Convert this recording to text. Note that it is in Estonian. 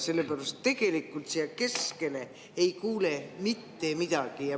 Selles mõttes, et tegelikult siia keskele ei kuule mitte midagi.